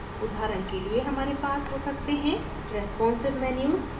उदाहरण के लिए हमारे पास हो सकते हैं responsive menus